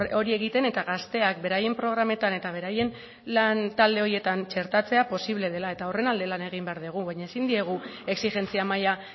hori egiten eta gazteak beraien programetan eta beraien lantalde horietan txertatzea posible dela eta horren alde lan egin behar dugu baina ezin diegu exijentzia maila